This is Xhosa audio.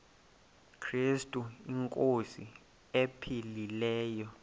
krestu inkosi ephilileyo